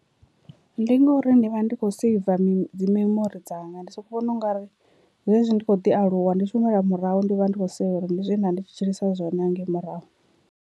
Ndi ngori ndi vha ndi kho seiva mi dzi memori dzanga ndi soko vhona ungari zwezwi ndi kho ḓi aluwa ndi tshi humela murahu ndi vha ndi kho sea uri ndi zwe nda ndi tshi tshilisa zwone hangei murahu.